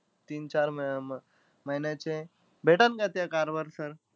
तीन-चार म अं महिन्याचे. भेटंलं का त्या car वर sir?